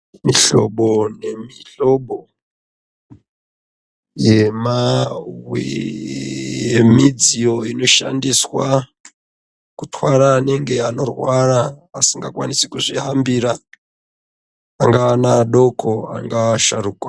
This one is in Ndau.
Mihlobo nemihlobo yemidziyo inoshandiswa, kutwara anenge anorwara, asingakwanisi kuzvihambira, angaa ana adoko angaa asharukwa.